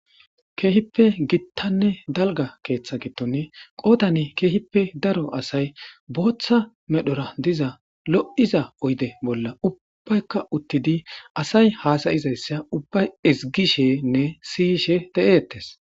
Kehipe gitane dalga ketha gidon qodan kehipe daro asay botha medhora diza lo'iza oyde bola ubayika utidi asay hasa'izaysa ubay ezigishene si'ishe de'etes.